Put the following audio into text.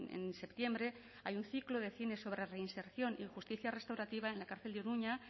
en septiembre hay un ciclo de cine sobre reinserción y justicia restaurativa en la cárcel de iruña